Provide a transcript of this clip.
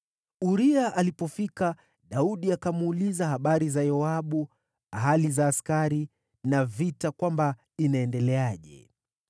Uria alipofika, Daudi akamuuliza habari za Yoabu, hali za askari na vita kwamba inaendeleaje.